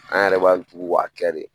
An yɛrɛ b'an tugu k'a kɛ de